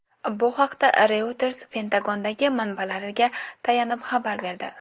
Bu haqda Reuters Pentagondagi manbalariga tayanib xabar berdi.